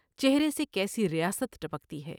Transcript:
چہرے سے کیسی ریاست ٹپکتی ہے ۔